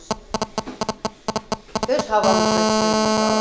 Öz öz havamızı, öz suyumuzu alaq.